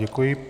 Děkuji.